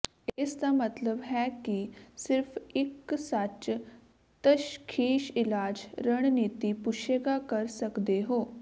ਇਸ ਦਾ ਮਤਲਬ ਹੈ ਕਿ ਸਿਰਫ ਇੱਕ ਸੱਚ ਤਸ਼ਖੀਸ਼ ਇਲਾਜ ਰਣਨੀਤੀ ਪੁੱਛੇਗਾ ਕਰ ਸਕਦੇ ਹੋ